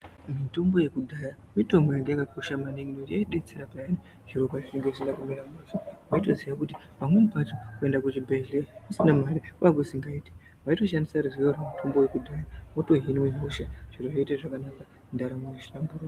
Mitombo yekudhaya mitombo yanga yakakosha maningi ngekuti yaidetsera piyani zviro pazvinenge zvisina kumira mushe wotoziva kuti pamweni pacho kuenda kuchibhedhlera usina mare kwanga kusingaiti waitoshandisa ruzivo rwemutombo wekudhaya zvoita zvakanaka wotohinwa hosha zviro zvoita zvakanaka ndaramo yohlamburuka.